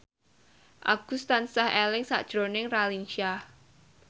Agus tansah eling sakjroning Raline Shah